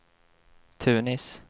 Tunis